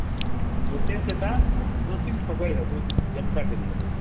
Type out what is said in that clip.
ତତେ ସେଟା ତତେ ଠଗେଇବେ ବହୂତି ଯେନ୍ତା କରି ହେଲେ